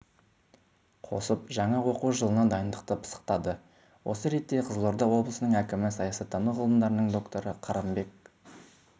қосып жаңа оқу жылына дайындықты пысықтады осы ретте қызылорда облысының әкімі саясаттану ғылымдарының докторы қырымбек